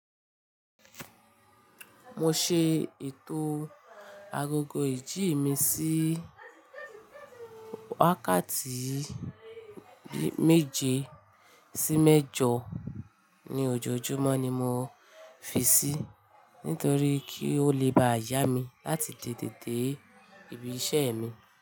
Mo ṣe ètò agogo ìjí mi sí wákàtí méje sí mẹ́jọ ní ojojúmọ́ ni mo fi sí nítorí kí ó lè bá yá mi láti tètè dé ibi iṣẹ́ mi.